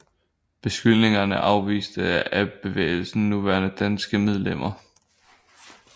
Beskyldningerne afvistes af bevægelsens nuværende danske medlemmer